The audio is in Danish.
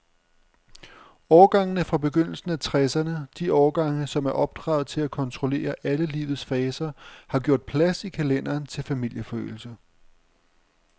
Årgangene fra begyndelsen af tresserne, de årgange, som er opdraget til at kontrollere alle livets faser, har gjort plads i kalenderen til familieforøgelse.